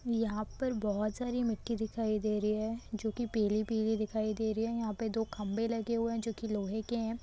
यहाँ पर बहुत सारी मिट्ठी दिखाई दे रही है जो की पीली पीली दिखाई दे रही है यहाँ पे दो खंबे लगे हुये है जो की लोहे के है।